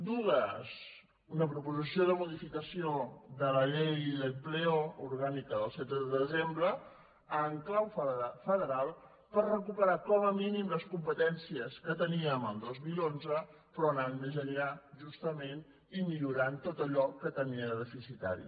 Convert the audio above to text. dues una proposició de modificació de la llei de empleo orgànica del setze de desembre en clau federal per recuperar com a mínim les competències que teníem el dos mil onze però anant més enllà justament i millorant tot allò que tenia de deficitari